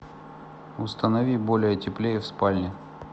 установи более теплее в спальне